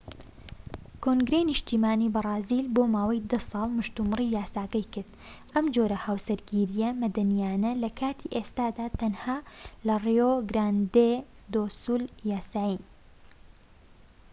کۆنگرەی نیشتیمانی بەرازیل بۆ ماوەی 10 ساڵ مشتومڕی یاساکەی کرد، ئەم جۆرە هاوسەرگیرییە مەدەنیانە لە کاتی ئێستادا تەنها لەڕیۆ گراندێ دۆ سول یاسایین‎